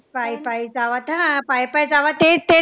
पायी पायी जावं ते हा पाय पाय जावं तेच ते